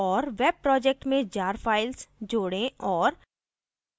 और web project में jar files जोड़ें और